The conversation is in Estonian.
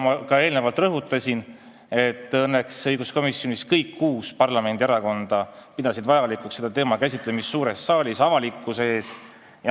Ma ka eelnevalt rõhutasin, et õiguskomisjonis pidasid õnneks kõik kuus parlamendierakonda vajalikuks selle teema käsitlemist suures saalis avalikkuse ees.